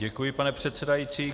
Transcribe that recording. Děkuji, pane předsedající.